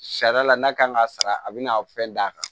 Sariya la n'a kan ka sara a bɛna fɛn d'a kan